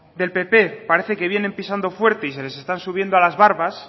del pp parece que vienen pisando fuerte y se les están subiendo a las barbas